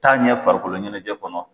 T'a ɲɛ farikoloɲɛnɛjɛ kɔnɔ